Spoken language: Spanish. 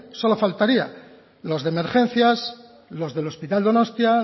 solo faltaría los de emergencias los del hospital donostia